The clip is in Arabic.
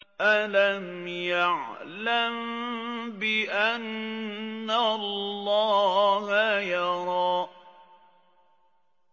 أَلَمْ يَعْلَم بِأَنَّ اللَّهَ يَرَىٰ